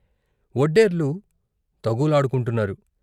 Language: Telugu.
వొడ్డెర్లు తగూలాడుకుంటున్నారు.